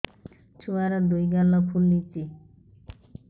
ଛୁଆର୍ ଦୁଇ ଗାଲ ଫୁଲିଚି